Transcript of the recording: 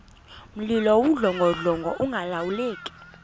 mlilo wawudlongodlongo ungalawuleki